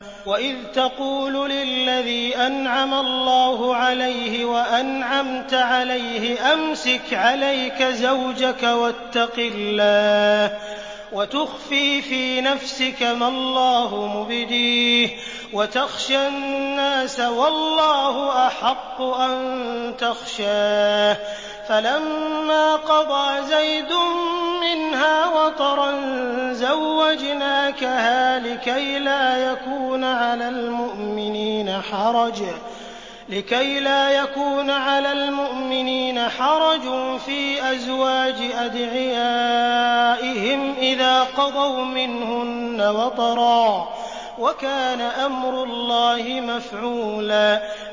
وَإِذْ تَقُولُ لِلَّذِي أَنْعَمَ اللَّهُ عَلَيْهِ وَأَنْعَمْتَ عَلَيْهِ أَمْسِكْ عَلَيْكَ زَوْجَكَ وَاتَّقِ اللَّهَ وَتُخْفِي فِي نَفْسِكَ مَا اللَّهُ مُبْدِيهِ وَتَخْشَى النَّاسَ وَاللَّهُ أَحَقُّ أَن تَخْشَاهُ ۖ فَلَمَّا قَضَىٰ زَيْدٌ مِّنْهَا وَطَرًا زَوَّجْنَاكَهَا لِكَيْ لَا يَكُونَ عَلَى الْمُؤْمِنِينَ حَرَجٌ فِي أَزْوَاجِ أَدْعِيَائِهِمْ إِذَا قَضَوْا مِنْهُنَّ وَطَرًا ۚ وَكَانَ أَمْرُ اللَّهِ مَفْعُولًا